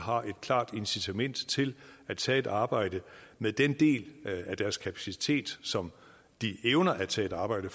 har et klart incitament til at tage et arbejde med den del af deres kapacitet som de evner at tage et arbejde